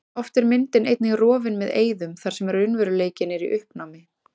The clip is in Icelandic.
Oft er myndin einnig rofin með eyðum þar sem raunveruleikinn er í uppnámi.